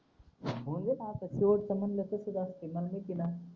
हो म्हणलं तसंच असतंय मला माहिते ना